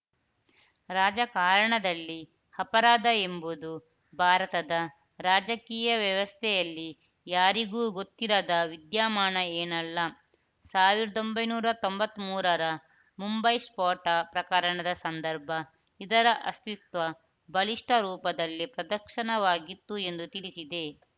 ರಾಜಕಾರಣದಲ್ಲಿ ಅಪರಾಧ ಎಂಬುದು ಭಾರತದ ರಾಜಕೀಯ ವ್ಯವಸ್ಥೆಯಲ್ಲಿ ಯಾರಿಗೂ ಗೊತ್ತಿರದ ವಿದ್ಯಮಾನ ಏನಲ್ಲ ಸಾವಿರದ ಒಂಬೈನೂರ ತೊಂಬತ್ತ್ ಮೂರರ ಮುಂಬೈ ಸ್ಫೋಟ ಪ್ರಕರಣ ಸಂದರ್ಭ ಇದರ ಅಸ್ತಿತ್ವ ಬಲಿಷ್ಠ ರೂಪದಲ್ಲಿ ಪ್ರದರ್ಶನವಾಗಿತ್ತು ಎಂದು ತಿಳಿಸಿದೆ